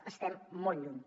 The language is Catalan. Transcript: n’estem molt lluny